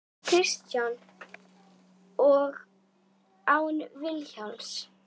Kristján: Og án Vilhjálms?